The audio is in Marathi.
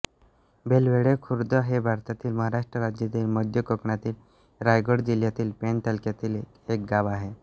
बेलवडे खुर्द हे भारतातील महाराष्ट्र राज्यातील मध्य कोकणातील रायगड जिल्ह्यातील पेण तालुक्यातील एक गाव आहे